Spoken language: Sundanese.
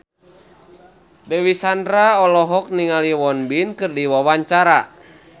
Dewi Sandra olohok ningali Won Bin keur diwawancara